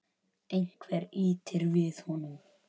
Einhver ýtir við honum.